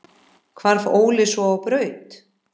Hvarf Óli svo á braut.